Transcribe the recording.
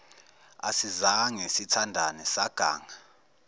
asizange sithandane saganga